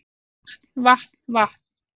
Vatn vatn vatn